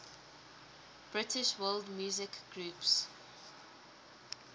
british world music groups